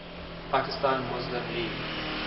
pakistan muslim league